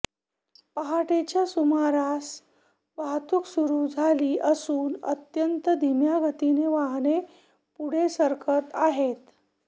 पहाटेच्या सुमारासा वाहतूक सुरू झाली असून अत्यंत धिम्या गतीनं वाहनं पुढे सरकत आहेत